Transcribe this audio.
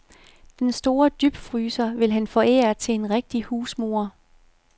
Den store dybfryser vil han forære til en rigtig husmor.